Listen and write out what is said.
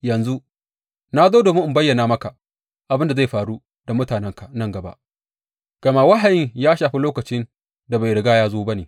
Yanzu na zo domin in bayyana maka abin da zai faru da mutanenka nan gaba, gama wahayin ya shafi lokacin da bai riga ya zo ba ne.